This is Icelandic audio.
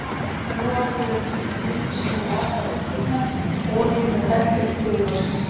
Nú orðið eru slíkar lindir sennilega allar uppurnar og olíunni er dælt upp til yfirborðsins.